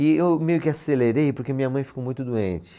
E eu meio que acelerei porque minha mãe ficou muito doente.